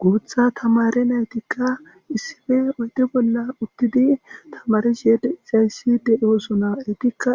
guutha tamare naytikka issife oyde bolla uttidi tamarishe deizayssi de7osuna etikka